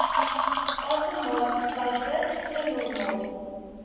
asemhalingspype so normaal